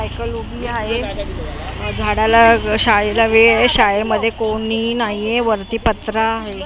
Cycle उभी आहे अ झाडाला शाळेला वेळ आहे शाळेमध्ये कोणी नाहीए वरती पत्रा हाय .